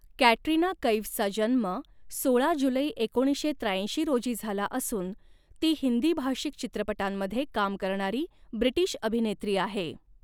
Catarina कैफचा जन्म सोळा जुलै एकोणीसशे त्र्याऐंशी रोजी झाला असून ती हिन्दी भाषिक चित्रपटांंमध्ये काम करणारी ब्रिटिश अभिनेत्री आहे.